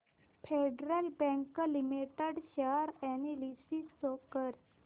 federal Bank Limited share analysis show कर